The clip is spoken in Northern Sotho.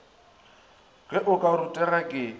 ge o ka rutega ke